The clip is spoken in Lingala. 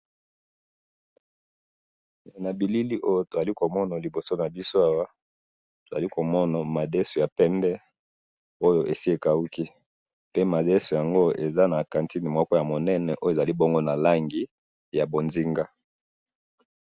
na bilili oyo tozali komona liboso nabiso awa, tozali komona madesou ya pembe oyo esi ekahuki, pe madesou oyo eza na quantite moko ya monene oyo ezali na langi ya bonzinga